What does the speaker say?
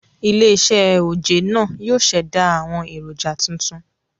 Ilé -iṣẹ́ oje náà yóò ṣẹ̀dá àwọn èròjà tuntun